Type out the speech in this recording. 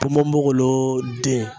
Ponponpogolon den